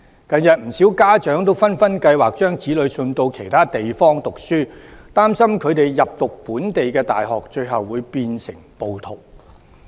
近日不少家長紛紛計劃把子女送到其他地方讀書，擔心他們入讀本地大學，最終會變成暴徒。